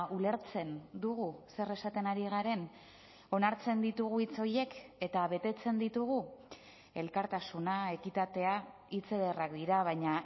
ulertzen dugu zer esaten ari garen onartzen ditugu hitz horiek eta betetzen ditugu elkartasuna ekitatea hitz ederrak dira baina